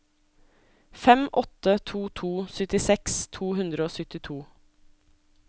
fem åtte to to syttiseks to hundre og syttito